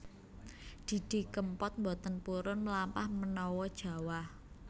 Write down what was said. Didi Kempot mboten purun mlampah menawa jawah